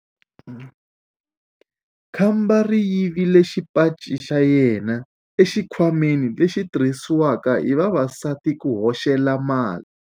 Khamba ri yivile xipaci xa yena exikhwameni lexi xi tirhisiwaka hi vavasati ku hoxela mali.